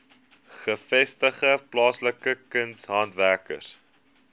gevestigde plaaslike kunshandwerkers